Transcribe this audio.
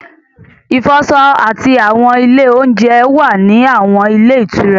Ìfọṣọ àti àwọn ilé oúnjẹ wà ní àwọn ilé ìtura